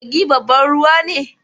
Kogi babban ruwa ne